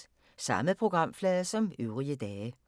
Samme programflade som øvrige dage